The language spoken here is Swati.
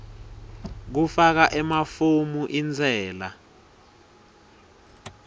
kufaka emafomu entsela